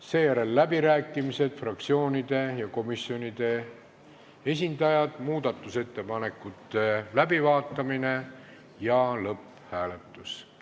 Seejärel on läbirääkimised fraktsioonide ja komisjonide esindajatele, muudatusettepanekute läbivaatamine ja lõpphääletus.